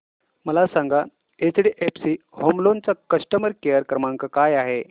मला सांगा HDFC home loan चा कस्टमर केअर क्रमांक काय आहे